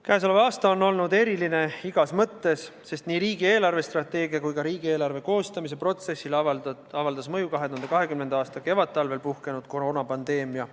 Käesolev aasta on olnud eriline igas mõttes, sest nii riigi eelarvestrateegia kui ka riigieelarve koostamise protsessile avaldas mõju 2020. aasta kevadtalvel puhkenud koroonapandeemia.